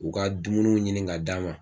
U ka dumuniw ɲini k'a d'a ma.